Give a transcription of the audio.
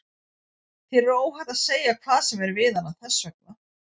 Þér er óhætt að segja hvað sem er við hana, þess vegna.